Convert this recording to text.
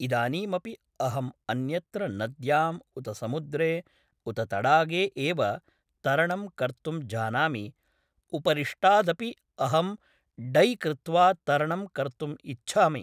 इदानीमपि अहं अन्यत्र नद्यां उत समुद्रे उत तडागे एव तरणं कर्तुं जानामि उपरिष्टादपि अहं डै कृत्वा तरणं कर्तुं इच्छामि